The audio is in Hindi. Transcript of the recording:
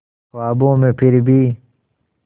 ख्वाबों में फिर भी